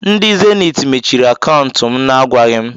Ndị zeniit mechiri akantu m na-agwaghi m.